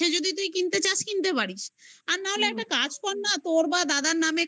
যদি তুই কিনতে চাস কিনতে পারিস. আর না হলে একটা কাজ কর না. তোর বা দাদার